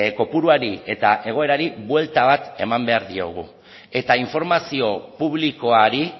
kopuruari eta egoerari buelta bat eman behar diogu eta informazio publikoari